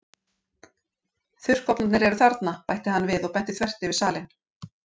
Þurrkofnarnir eru þarna- bætti hann við og benti þvert yfir salinn.